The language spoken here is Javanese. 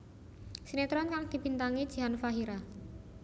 Sinetron kang dibintangi Jihan Fahira